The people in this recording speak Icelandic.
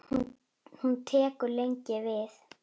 Hún tekur lengi við.